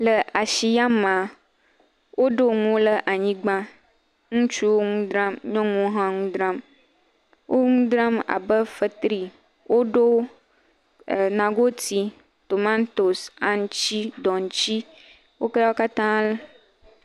Le ashi ya mea, woɖo nuwo le anyigba. Ŋutsuwo ŋu dram, nyɔnuwo hã ŋu dram. Wo nu dram abe fetri, woɖo nagoti, tomatosi, aŋutsi, dɔŋtsi wolẽ wo katã.